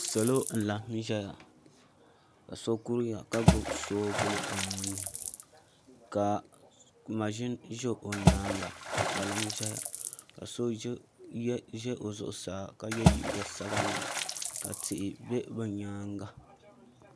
Salo n laɣam ʒɛya ka so kuriya ka gbubi soobuli o nuuni ka maʒini ʒɛ o nyaanga ka kpalaŋ ʒɛya ka so ʒɛ o zuɣusaa ka yɛ liiga sabinli ka tihi bɛ o nyaanga